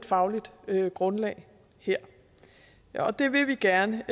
fagligt grundlag her og det vil vi gerne